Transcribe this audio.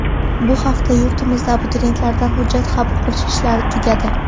Bu hafta yurtimizda abituriyentlardan hujjat qabul qilish ishlari tugadi .